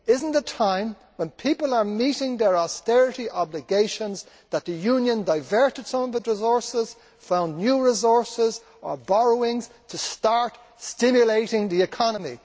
Is it not time, when people are meeting their austerity obligations, that the Union diverted its own resources or found new resources or borrowings to start stimulating the economy?